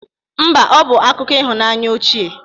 Mba, ọ bụ akụkọ ịhụnanya ochie